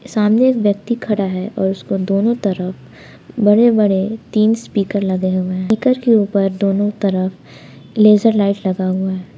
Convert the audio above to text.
सामने एक व्यक्ति खड़ा है और उसको दोनों तरफ बड़े बड़े तीन स्पीकर लगे हुए हैं स्पीकर के ऊपर दोनों तरफ लेजर लाइट लगा हुआ है।